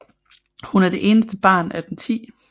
Hun er det eneste barn af den 10